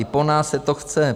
I po nás se to chce.